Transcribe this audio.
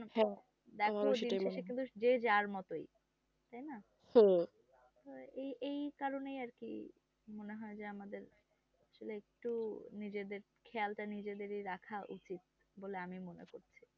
এই কারণে আর কি মনে হয় যে আমাদের আসলে একটু নিজেদের খেয়ালটা নিজেদেরই রাখা উচিত বলে আমি মনে করছি